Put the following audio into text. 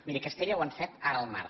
miri a castella ho han fet ara al març